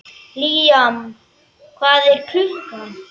Líam, hvað er klukkan?